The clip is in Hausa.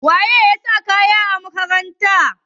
Wane ne ya sa kayan makaranta?